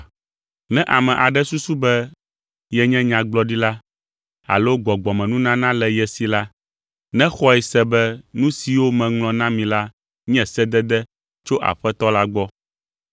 Ne ame aɖe susu be yenye nyagblɔɖila alo gbɔgbɔmenunana le ye si la, nexɔe se be nu siwo meŋlɔ na mi la nye sedede tso Aƒetɔ la gbɔ.